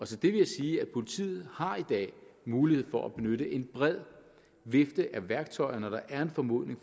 til det vil jeg sige at politiet i har mulighed for at benytte en bred vifte af værktøjer når der er en formodning